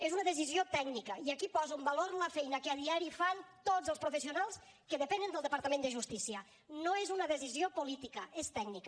és una decisió tècnica i aquí poso en valor la feina que a diari fan tots els professionals que depenen del departament de justícia no és una decisió política és tècnica